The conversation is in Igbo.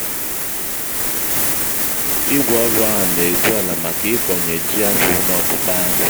ígwè ọrụ ahụ n'egwùala màkà ị́kọṅye ji-akwụ n'ọpụpá